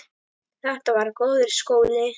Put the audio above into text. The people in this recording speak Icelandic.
Þetta var góður skóli.